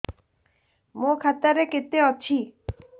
ମୋ ଖାତା ରେ କେତେ ଅଛି